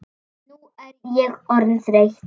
Nú er ég orðin þreytt.